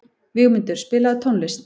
Vígmundur, spilaðu tónlist.